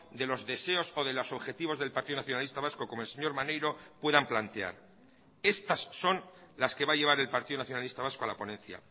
de los deseos o de los objetivos del partido nacionalista vasco como el señor maneiro puedan plantear estas son las que va a llevar el partido nacionalista vasco a la ponencia